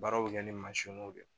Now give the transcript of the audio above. Baara bɛ kɛ ni mansinw de ye